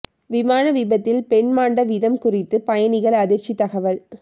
விமான விபத்தில் பெண் மாண்ட விதம் குறித்து பயணிகள் அதிர்ச்சித் தகவல்